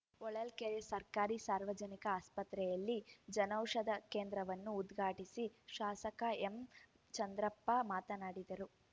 ಹೊಳಲ್ಕೆರೆ ಸರ್ಕಾರಿ ಸಾರ್ವಜನಿಕ ಆಸ್ಪತ್ರೆಯಲ್ಲಿ ಜನೌಷಧ ಕೇಂದ್ರವನ್ನು ಉದ್ಘಾಟಿಸಿ ಶಾಸಕ ಎಂಚಂದ್ರಪ್ಪ ಮಾತನಾಡಿದರು